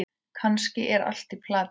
Kannski er allt í plati.